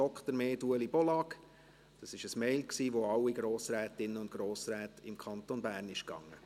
Das war eine E-Mail, die an alle Grossrätinnen und Grossräte des Kantons Bern ging.